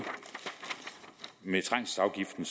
med trængselsafgiften